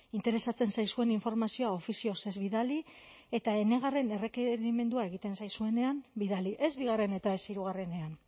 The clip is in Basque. interesatzen zaizuen informazioa ofizioz ez bidali eta enegarren errekerimendua egiten zaizuenean bidali ez bigarren eta ez hirugarrenean